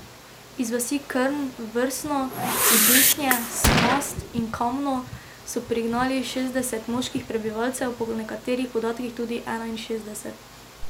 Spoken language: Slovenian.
Iz vasi Krn, Vrsno, Libušnje, Smast in Kamno so prignali šestdeset moških prebivalcev, po nekaterih podatkih tudi enainšestdeset...